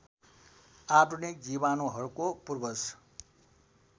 आधुनिक जीवाणुहरूको पूर्वज